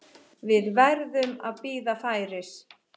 Við verðum að bíða færis.